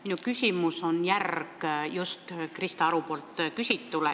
Minu küsimus on järg Krista Aru küsitule.